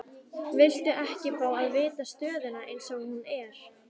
Viltu ekki fá að vita stöðuna eins og hún er?